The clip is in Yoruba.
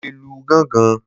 Mo le lu gángan.